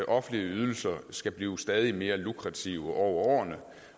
offentlige ydelser skal blive stadig mere lukrative over årene